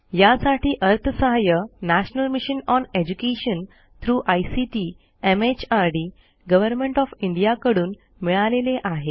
यासाठी अर्थसहाय्य national mission on education through ICT MHRD government of India कडून मिळालेले आहे